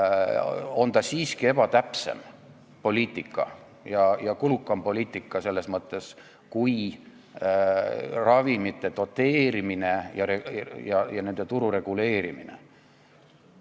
Aga ravimitega seotud maksuerand on siiski ebatäpsem ja kulukam poliitika kui ravimite doteerimine ja nende turu reguleerimine.